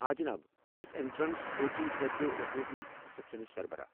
آ جناب، بہٕ چھس اٮ۪نٹرٛنس کوچنٛگ خٲطرٕ رٮ۪کروُٹمنٛٹ سٮ۪کشنٕچ سربرٲہ ۔